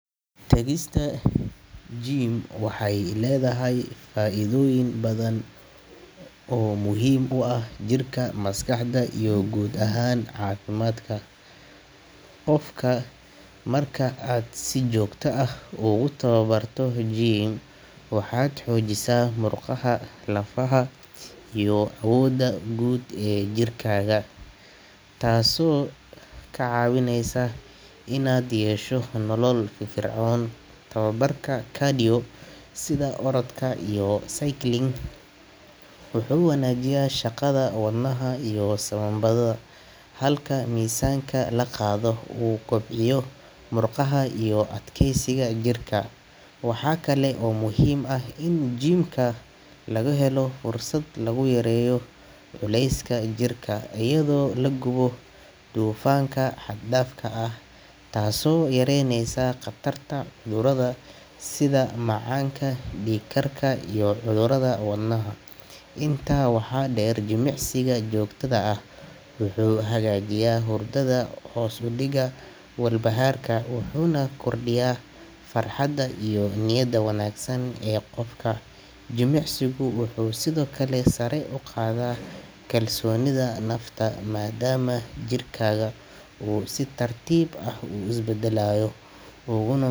Tagista gym waxay leedahay faa’iidooyin badan oo muhiim u ah jirka, maskaxda iyo guud ahaan caafimaadka qofka. Marka aad si joogto ah ugu tababarto gym, waxaad xoojisaa murqaha, lafaha iyo awoodda guud ee jirkaaga, taasoo kaa caawinaysa inaad yeesho nolol firfircoon. Tababarka cardio sida orodka iyo cycling wuxuu wanaajiyaa shaqada wadnaha iyo sambabada, halka miisaanka la qaado uu kobciyo murqaha iyo adkeysiga jirka. Waxaa kale oo muhiim ah in gym-ka lagu helo fursad lagu yareeyo culeyska jirka iyadoo la gubo dufanka xad-dhaafka ah, taasoo yareyneysa khatarta cudurrada sida macaanka, dhiig karka iyo cudurrada wadnaha. Intaa waxaa dheer, jimicsiga joogtada ah wuxuu hagaajiyaa hurdada, hoos u dhigaa walbahaarka, wuxuuna kordhiyaa farxadda iyo niyadda wanaagsan ee qofka. Jimicsigu wuxuu sidoo kale sare u qaadaa kalsoonida nafta, maadaama jirkaaga uu si tartiib ah u isbedelayo uguna.